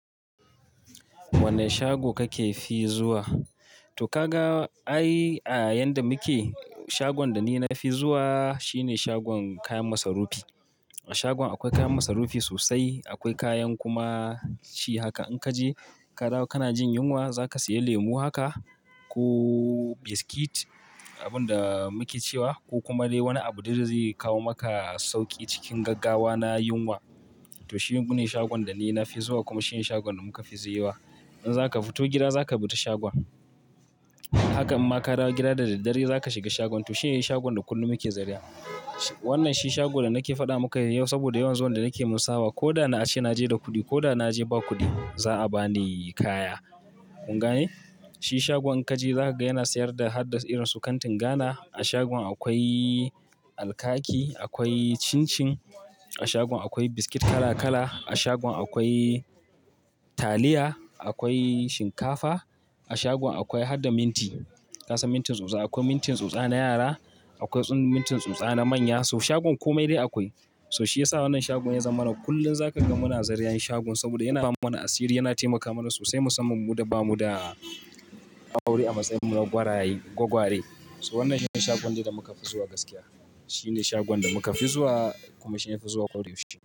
Wanne shago kake fi zuwa? To ka ga, ai a yadda muke, shagon da ni na fi zuwa shine shagon kayan masarufi. A shagon akwai kayan masarufi sosai, akwai kayan kuma shi haka. In ka je ka dawo kana jin yunwa za ka saya lemu haka ko biskit, abin da muke cewa, ko kuma dai wani abu da zai kawo maka sauƙi cikin gaggawa na yunwa. To shi ne shagon da ni na fi zuwa kuma shi ne shagon da muka fi ziyarwa. In za ka fito gida za ka bi ta shagon. Haka amma ka dawo gida da daddare za ka shiga shagon. In ka je ka dawo kana jin yunwa za ka saya lemu haka ko biskit, abin da muke cewa, ko kuma dai wani abu da zai kawo maka sauƙi cikin gaggawa na yunwa. To shi ne shagon da ni na fi zuwa kuma shi ne dai shagon da kullun muke fi ziyarwa. Haka amma ka dawo gida da daddare za ka shiga shagon. Kun gane? Shi shagon ka je za ka ga yana sayar da har da irin su kantin Ghana. A shagon akwai alkaki, akwai cin-cin. A shagon akwai biskit kala-kala. A shagon akwai taliya, akwai shinkafa. A shagon akwai har da minti. Ka san mintin tsutsa, akwai mintin tsutsa na yara, akwai mintin tsutsa na manya. So shagon kome dai akwai. So shi ya sa wannan shagon ya zama mana kullum za ka gan mu na zaria yin shagon saboda yana ba mana asiri, yana taimaka mana sosai musamman mu da ba mu da aure a matsayin mu na gwaraye, gwagware. So wannan shine shagon da muka fi zuwa gaskiya. Shi ne shagon da muka fi zuwa kuma shi ne na fi zuwa kawai.